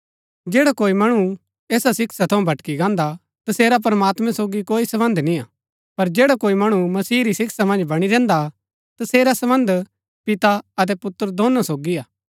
जैडा कोई मणु ऐसा शिक्षा थऊँ भटकी गान्दा हा तसेरा प्रमात्मैं सोगी कोई सम्बन्ध निय्आ पर जैड़ा कोई मणु मसीह री शिक्षा मन्ज बणी रैहन्दा हा तसेरा सम्बन्ध पिता अतै पुत्र दोनो सोगी हा